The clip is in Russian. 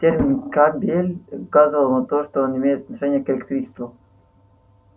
термин кабель указывал на то что он имеет отношение к электричеству